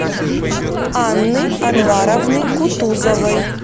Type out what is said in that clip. анны анваровны кутузовой